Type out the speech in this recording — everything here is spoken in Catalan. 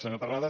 senyor terrades